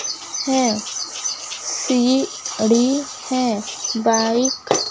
है सीढ़ी है बाइक --